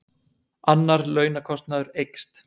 Annar launakostnaður eykst